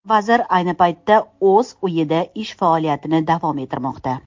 Vazir ayni paytda o‘z uyida ish faoliyatini davom ettirmoqda.